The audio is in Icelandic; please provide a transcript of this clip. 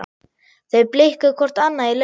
Þau blikkuðu hvort annað í laumi.